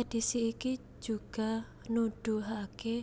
Edisi iki juga nuduhake